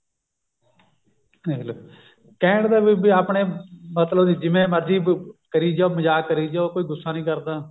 ਦੇਖਲੋ ਕਹਿਣ ਦਾ ਵੀ ਆਪਣੇ ਮਤਲਬ ਦਾ ਜਿਵੇਂ ਮਰਜੀ ਕਰੀ ਜਾਓ ਮਜਾਕ ਕਰੀ ਜਾਓ ਕੋਈ ਗੁੱਸਾ ਨੀ ਕਰਦਾ